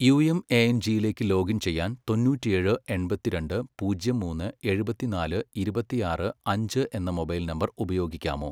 യുഎംഎഎൻജിയിലേക്ക് login ചെയ്യാൻ തൊന്നൂറ്റേഴ് എൺപത്തിരണ്ട് പൂജ്യം മൂന്ന് എഴുപത്തിനാല് ഇരുപത്തിയാറ് അഞ്ച് എന്ന മൊബൈൽ നമ്പർ ഉപയോഗിക്കാമോ?